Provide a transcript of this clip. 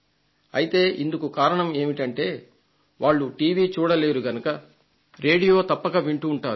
అయితే ఇందుకు కారణం ఏమిటంటే వాళ్లు టీవీ చూడలేరు గనుక రేడియో తప్పక వింటుంటారు